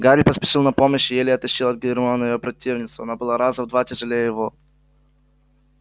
гарри поспешил на помощь и еле оттащил от гермионы её противницу она была раза в два тяжелее его